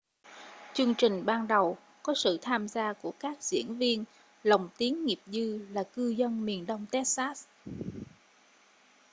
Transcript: chương trình ban đầu có sự tham gia của các diễn viên lồng tiếng nghiệp dư là cư dân miền đông texas